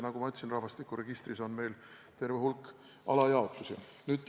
Nagu ma ütlesin, rahvastikuregistris on meil terve hulk alajaotusi.